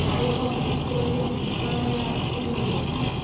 Olĩ no tũthikĩrĩrie thinema Legale kulule .